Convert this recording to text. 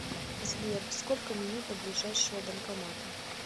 сбер сколько минут до ближайшего банкомата